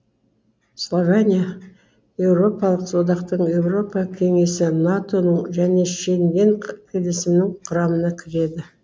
словения еуропалық одақтың еуропа кеңесі нато ның және шенген келісімінің құрамына кіреді